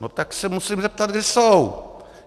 No tak se musím zeptat, kde jsou.